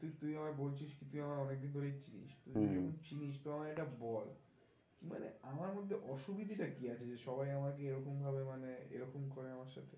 তুই আবার বলছিস কি তুই আমায় অনেক দিন ধরেই চিনিস, চিনিস তো আমায় এটা বল মানে আমার মধ্যে অসুবিধা টা কি আছে? যে সবাই আমাকে এরকম ভাবে মানে এরকম করে আমার সাথে